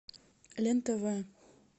лен тв